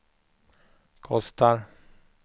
kostar